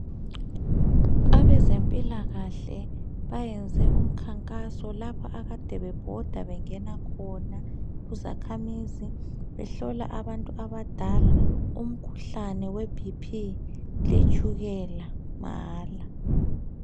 Abezempilakahle bayenze umkhankaso lapho akade bebhoda bengena khona kuzakhamizi behlola abantu abadala umkhuhlane weBP letshukela mahala.